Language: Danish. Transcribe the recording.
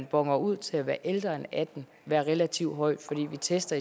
boner ud til at være ældre end atten være relativt højt fordi vi tester